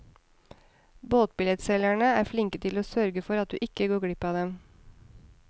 Båtbillettselgerne er flinke til å sørge for at du ikke går glipp av dem.